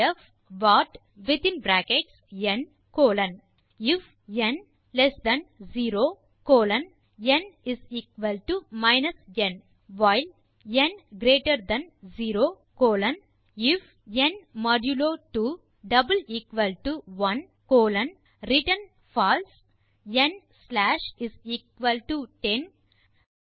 def what within bracket n colon I F n less than 0 colon n n while n greater than 0 colon I F n modulo 2 1 colon return false n slash 10 மற்றும் அடுத்த line